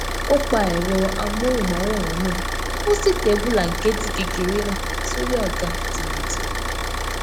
ó pa ẹrọ amóhùnmáwòrán náà ó sì tẹ bùlànkẹẹtì kékeré náà sórí àga tìmùtìmù